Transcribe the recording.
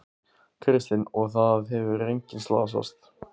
Kristinn: Og það hefur enginn slasast?